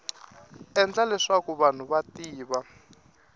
endla leswaku vanhu va tiva